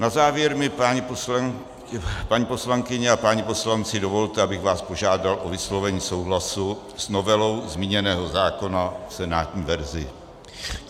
Na závěr mi, paní poslankyně a páni poslanci, dovolte, abych vás požádal o vyslovení souhlasu s novelou zmíněného zákona v senátní verzi.